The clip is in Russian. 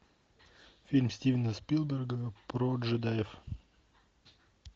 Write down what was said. фильм стивена спилберга про джедаев